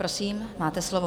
Prosím, máte slovo.